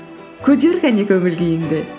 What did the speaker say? көтер кәне көңіл күйіңді